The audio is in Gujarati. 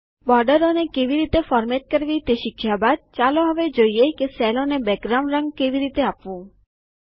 બોર્ડરોને કેવી રીતે ફોર્મેટ કરવી તે શીખ્યા બાદ ચાલો હવે જોઈએ કે સેલો ને બેકગ્રાઉન્ડ રંગ કેવી રીતે આપવું